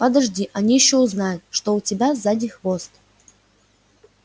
подожди они ещё узнают что у тебя сзади хвост